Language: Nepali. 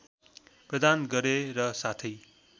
प्रदान गरे र साथै